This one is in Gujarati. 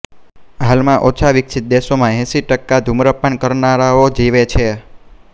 હાલમાં ઓછા વિકસિત દેશોમાં એંસી ટકા ધૂમ્રપાન કરનારાઓ જીવે છે